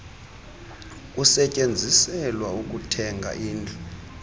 kusetyenziselwa ukuthenga indlu